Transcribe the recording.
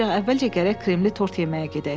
ancaq əvvəlcə gərək kremli tort yeməyə gedək.